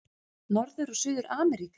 Norður- og Suður-Ameríka